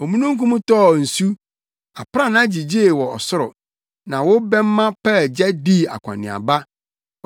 Omununkum tɔɔ nsu, aprannaa gyigyee wɔ ɔsoro; na wo bɛmma paa gya dii akɔneaba.